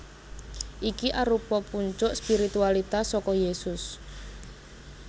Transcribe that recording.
Iki arupa puncuk spiritualitas saka Yésus